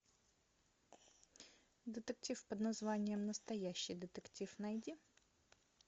детектив под названием настоящий детектив найди